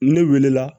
Ne welela